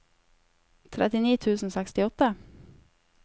trettini tusen og sekstiåtte